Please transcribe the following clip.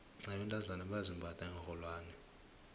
nabentazana bayazimbatha iinrholwane